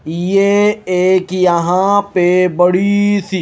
ये एक यहाँ पे बड़ी सी --